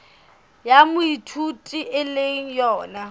ya moithuti e le yona